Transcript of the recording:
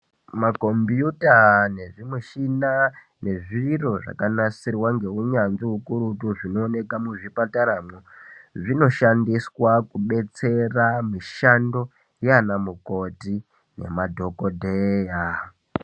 Makombiyuta nezvimushina nezviro zvakanasirwa neunyanzvi ukurutu zvinoonekwa muzvipataramwo zvinoshandiswa kudetsera mishando yaana mukoti nemadhokodheya.